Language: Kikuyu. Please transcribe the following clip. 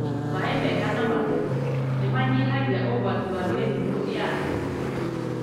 Maĩ mega na matheru ni manyihagia ũgwati wa mĩrimũ ya nda.